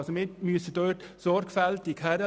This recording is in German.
Das müssen wir sorgfältig prüfen.